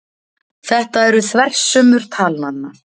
Þetta eru þversummur talnanna.